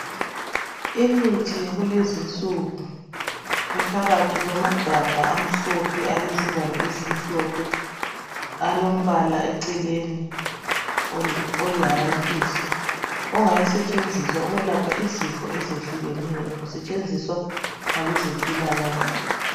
Imithi yakulezinsuku ephakathi kwamagabha amhlophe alezivalo ezimhlophe, alombala eceleni oliharantshisi, uyasetshenziswa ukwelapha izifo ezehlukeneyo, usetshenziswa ngabezempilakahle.